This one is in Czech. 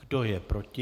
Kdo je proti?